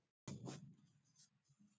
Lena verður að fara.